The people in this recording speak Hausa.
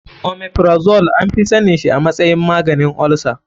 Omeprazole anfi sanin shi a matsayin maganin olsa.